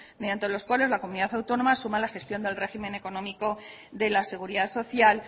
mediante los cuales la comunidad autónoma su mala gestión del régimen económico de la seguridad social